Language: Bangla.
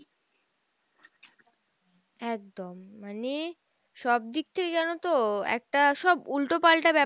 একদম মানে, সব দিকটাই জানোতো একটা সব উল্টো পালটা